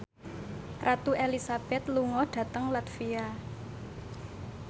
Ratu Elizabeth lunga dhateng latvia